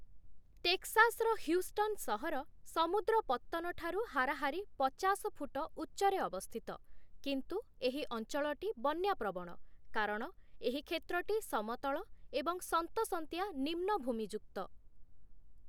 ଟେକ୍ସାସ୍‌ର ହ୍ୟୁଷ୍ଟନ୍' ସହର ସମୁଦ୍ର ପତ୍ତନଠାରୁ ହାରାହାରି ପଚାଶ ଫୁଟ ଉଚ୍ଚରେ ଅବସ୍ଥିତ, କିନ୍ତୁ ଏହି ଅଞ୍ଚଳଟି ବନ୍ୟାପ୍ରବଣ କାରଣ ଏହି କ୍ଷେତ୍ରଟି ସମତଳ ଏବଂ ସନ୍ତସନ୍ତିଆ ନିମ୍ନ ଭୂମିଯୁକ୍ତ ।